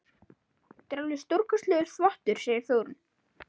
Þetta er alveg stórkostlegur þvottur, segir Þórunn.